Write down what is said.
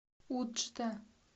уджда